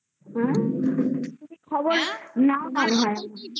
তুমি খবর নাও না